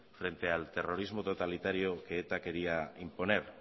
frente al terrorismo totalitario que eta quería imponer